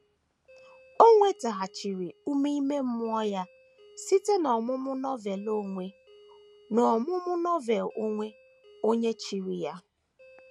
O nwetaghachiri ume ime mmụọ ya site n’ọmụmụ Novel onwe n’ọmụmụ Novel onwe onye chiri anya.